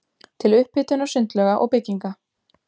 til upphitunar sundlauga og bygginga.